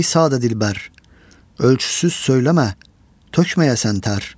"Ey sada dilbər, ölçüsüz söyləmə, tökməyəsən tər.